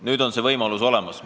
Nüüd on see võimalus olemas.